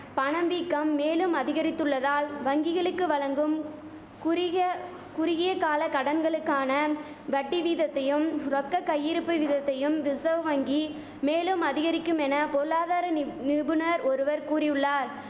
பணம் வீக்கம் மேலும் அதிகரித்துள்ளதால் வங்கிகளுக்கு வழங்கும் குறுகிய குறுகிய கால கடன்களுக்கான வட்டி வீதத்தையும் ரொக்க கையிருப்பு விதத்தையும் ரிசவ் வங்கி மேலும் அதிகரிக்குமென பொருளாதார நிப் நிபுணர் ஒருவர் கூறியுள்ளார்